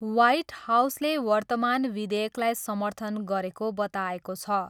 White हाउसले वर्तमान विधेयकलाई समर्थन गरेको बताएको छ।